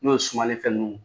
N'o ye sumafɛn ninniw